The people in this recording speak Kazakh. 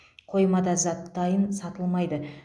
қоймада зат дайын сатылмайды